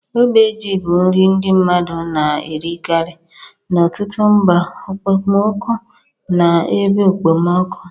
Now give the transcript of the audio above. Ogbe ji bụ nri ndi mmadu na-erikari n'ọtụtụ mba okpomọkụ na ebe okpomọkụ.